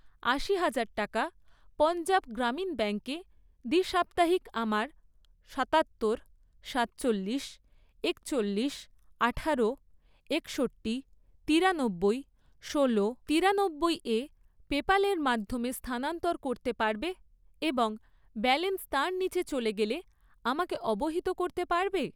আশি হাজার টাকা পঞ্জাব গ্রামীণ ব্যাঙ্কে দ্বি সাপ্তাহিক আমার সাতাত্তর, সাতচল্লিশ, একচল্লিশ, আঠারো, একষট্টি, তিরানব্বই, ষোলো, তিরানব্বইয়ে পেপ্যালের মাধ্যমে স্থানানন্তর করতে পারবে এবং ব্যালেন্স তার নিচে চলে গেলে আমাকে অবহিত করতে পারবে?